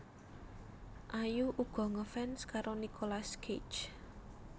Ayu uga ngefans karo Nicolas Cage